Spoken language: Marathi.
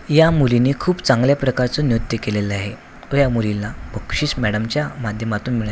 या मुलीने खूप चांगल्या प्रकारच निवृत्य केलेल आहे तो या मुलीला बुकशीस मॅडमच्या माध्यमातून--